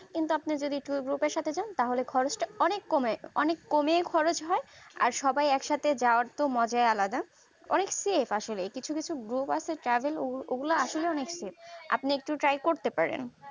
কিন্তু আপনি যদি tour group এর সাথে যান তাহলে খরচটা অনেক কমে অনেক কমে খরচ হয় আর সবাই একসাথে যাওয়ার তো মজাই আলাদা অনেক safe আসলে কিছু কিছু group আছে যাদের ওগুলা আসলেই travel আপনি একটু safe করতে পারেন